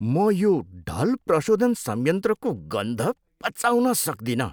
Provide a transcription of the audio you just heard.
म यो ढल प्रशोधन संयन्त्रको गन्ध पचाउन सक्दिनँ।